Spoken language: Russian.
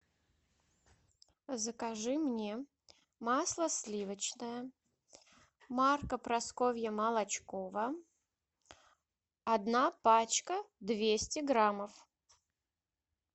закажи мне масло сливочное марка прасковья молочкова одна пачка двести граммов